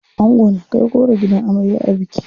Ango na kai goro gidan amarya a biki.